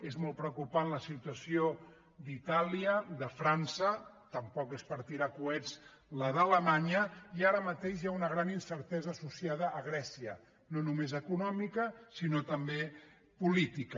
és molt preocupant la situació d’itàlia de frança tampoc és per tirar coets la d’alemanya i ara mateix hi ha una gran incertesa associada a grècia no només econòmica sinó també política